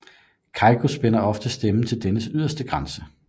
Keiko spænder ofte stemmen til dennes yderste grænser